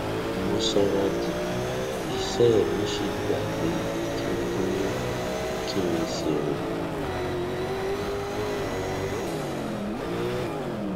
mò sanra jù iṣẹ mi sì gba pé kí n dúró kí n sì rìn